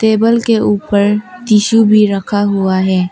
Table के ऊपर tissue भी रखा हुआ है।